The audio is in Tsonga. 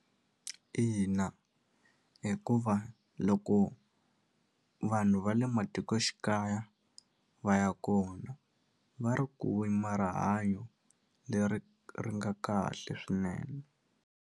Ina, hikuva loko vanhu va le matikoxikaya va ya kona va ri ku rihanyo leri ri nga kahle swinene.